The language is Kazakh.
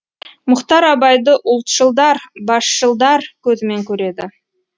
мұхтар абайды ұлтшылдар басшылдар көзімен көреді